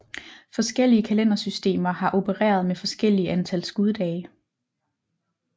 Forskellige kalendersystemer har opereret med forskellige antal skuddage